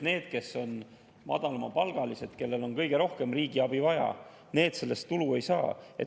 Need, kes on madalamapalgalised, kellel on kõige rohkem riigi abi vaja, sellest tulu ei saa.